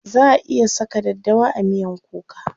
Za a iya saka daddawa a miyan kuka.